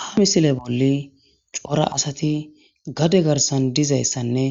ha misile bolli cora asati gade garsan dizayssanne